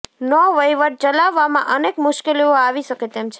નો વહિવટ ચલાવવામાં અનેક મુશ્કેલીઓ આવી શકે તેમ છે